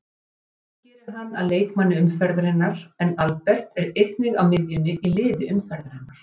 Frammistaðan gerir hann að leikmanni umferðarinnar en Albert er einnig á miðjunni í liði umferðarinnar.